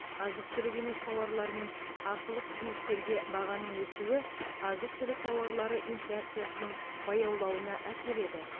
азық түлік емес тауарлар мен ақылы қызметтерге бағаның өсуі азық түлік тауарлары инфляциясының баяулауына әкеледі